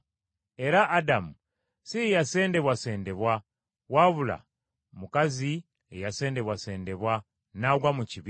Era Adamu si ye yasendebwasendebwa, wabula mukazi ye yasendebwasendebwa, n’agwa mu kibi.